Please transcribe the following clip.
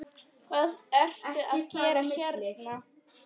Hvað ertu að gera hérna?